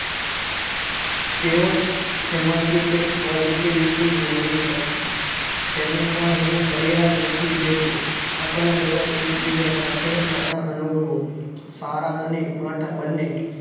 તેઓ તેમાંથી કંઈક posotivity મેળવી શકે તેને પણ હું ફરિયાદ નથી કેહતો આપણે બધા એક સાથે આપણા અનુભવો સારા અને માઠા બંને